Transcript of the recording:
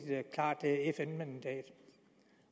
klart fn mandat